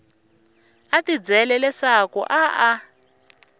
a tibyela leswaku a a